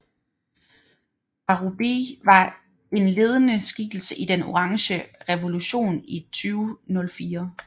Parubíj var en ledende skikkelse i Den orange revolution i 2004